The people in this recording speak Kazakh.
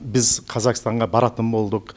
біз қазақстанға баратын болдық